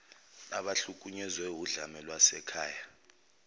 abahlukunyezwe wudlame lwasekhaya